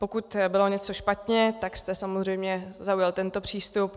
Pokud bylo něco špatně, tak jste samozřejmě zaujal tento přístup.